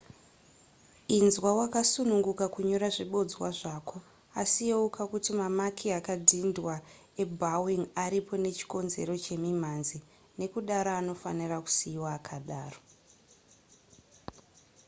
inzwa wakasununguka kunyora zvibodzwa zvako asi yeuka kuti mamaki akadhindwa ebowing aripo nechikonzero chemimhanzi nekudaro anofanirwa kusiiwa akadaro